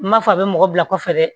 N m'a fɔ a bɛ mɔgɔ bila kɔfɛ dɛ